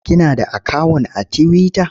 Kina da akawun a tiwita?